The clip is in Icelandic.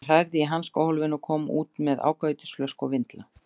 Hann hrærði í hanskahólfinu og kom út með ákavítisflösku og vindla.